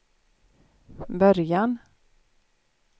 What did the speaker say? början